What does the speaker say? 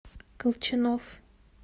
колчанов